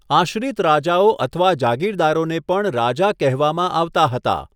આશ્રિત રાજાઓ અથવા જાગીરદારોને પણ રાજા કહેવામાં આવતા હતા.